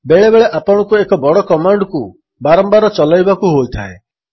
ବେଳେବେଳେ ଆପଣଙ୍କୁ ଏକ ବଡ଼ କମାଣ୍ଡକୁ ବାରମ୍ୱାର ଚଲାଇବାକୁ ହୋଇଥାଏ